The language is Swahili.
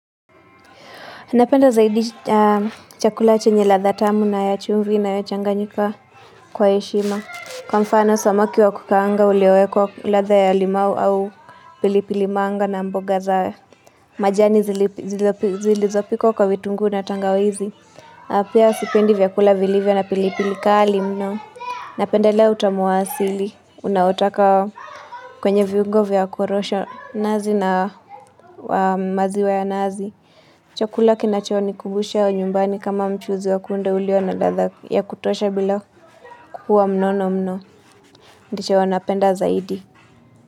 Napenda zaidi chakula chenye ladha tamu na ya chumvi na inayochanganyika kwa heshima. Kwa mfano, samaki wa kukaanga ulioekwa ladha ya limau au pilipili manga na mboga zae. Majani zilizopikwa kwa vitunguu na tangawizi. Na pia sipendi vyakula vilivyo na pilipili kali mno. Napendelea utamu wa asili. Unaotoka kwenye viungo vya kurosho nazi na maziwa ya nazi. Chakula kinacho nikumbusha nyumbani kama mchuzi wa kunde ulio na ladha ya kutosha bila kukua mnono mno. Ndicho napenda zaidi.